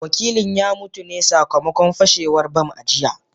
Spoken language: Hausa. Wakilin ya mutu ne sakamakon fashewar bam a jiya